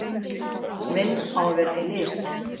Mynd á að vera í lit.